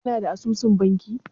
Ka na da asusun banki?